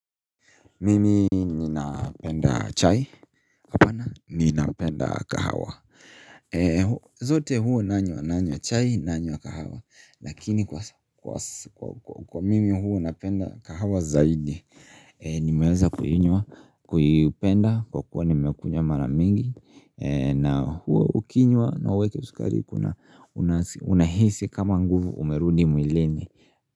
Mimi ninapenda chai hapana ninapenda kahawa zote huwa nanywa nanywa chai nanywa kahawa lakini kwa mimi huwa napenda kahawa zaidi Nimeweza kuinywa kuipenda kwa kuwa nimekunywa mara mingi na huwa ukinywa hauweki sukari kuna unahisi kama nguvu umerudi mwilini.